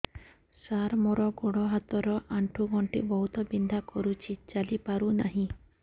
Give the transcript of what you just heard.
ସାର ମୋର ଗୋଡ ହାତ ର ଆଣ୍ଠୁ ଗଣ୍ଠି ବହୁତ ବିନ୍ଧା କରୁଛି ଚାଲି ପାରୁନାହିଁ